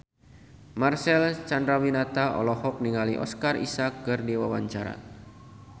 Marcel Chandrawinata olohok ningali Oscar Isaac keur diwawancara